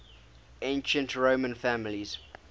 ancient roman families